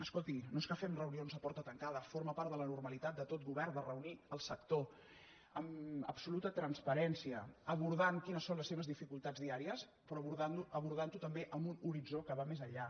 escolti no és que fem reunions a porta tancada forma part de la normalitat de tot govern de reunir el sector amb absoluta transparència abordant quines són les seves dificultats diàries però abordant ho també amb un horitzó que va més enllà